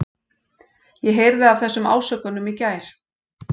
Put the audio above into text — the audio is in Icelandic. Ég heyrði af þessum ásökunum í gær.